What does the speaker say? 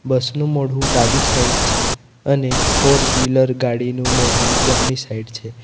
બસ નું મોઢું ડાબી સાઈડ છે અને ફોરવીલર ગાડીનું મોઢુ જમણી સાઈડ છે.